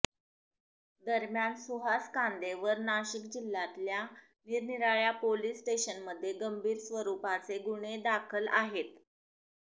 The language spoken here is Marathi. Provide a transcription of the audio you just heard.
दरम्यान सुहास कांदे वर नाशिक जिल्ह्यातल्या निरनिराळ्या पोलीस स्टेशनमध्ये गंभीर स्वरूपाचे गुन्हे दाखल आहेत